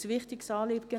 ein wichtiges Anliegen.